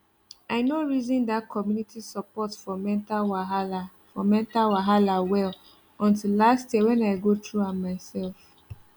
i no reason that community support for mental wahala for mental wahala well until last year when i go through am myself